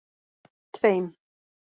tveim